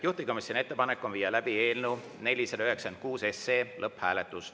Juhtivkomisjoni ettepanek on viia läbi eelnõu 496 lõpphääletus.